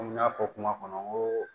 Komi n y'a fɔ kuma kɔnɔ n ko